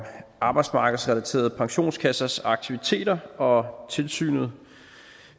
arbejdsmarkedsrelaterede pensionskassers aktiviteter og tilsynet